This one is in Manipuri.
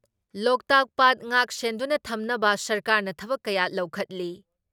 ꯂꯣꯛꯇꯥꯛ ꯄꯥꯠ ꯉꯥꯛꯁꯦꯟꯗꯨꯅ ꯊꯝꯕ ꯁꯔꯀꯥꯔꯅ ꯊꯕꯛ ꯀꯌꯥ ꯂꯧꯈꯠꯂꯤ ꯫